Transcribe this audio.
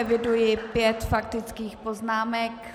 Eviduji pět faktických poznámek.